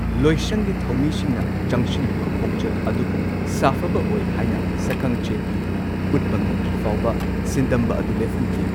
ꯂꯣꯏꯁꯪꯒꯤ ꯊꯧꯃꯤꯁꯤꯡꯅ ꯆꯪꯁꯤꯜꯂꯤꯕ ꯈꯣꯡꯆꯠ ꯑꯗꯨꯕꯨ ꯁꯥꯐꯕ ꯑꯣꯏ ꯍꯥꯏꯅ ꯁꯛꯈꯪꯆꯦ ꯄꯤꯗꯨꯅ ꯎꯠꯄ ꯉꯝꯗ꯭ꯔꯤꯐꯥꯎꯕ ꯁꯤꯟꯗꯝꯕ ꯑꯗꯨ ꯂꯦꯞꯍꯟꯈꯤ꯫